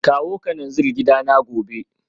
Kawo kananzir gidana gobe